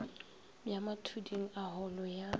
ya mathuding a holo ya